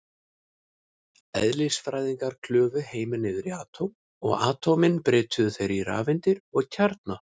Eðlisfræðingar klufu heiminn niður í atóm, og atómin brytjuðu þeir í rafeindir og kjarna.